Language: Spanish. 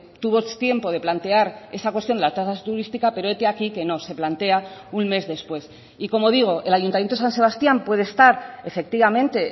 tuvo tiempo de plantear esa cuestión la tasa turística pero hete aquí que no se plantea un mes después y como digo el ayuntamiento de san sebastián puede estar efectivamente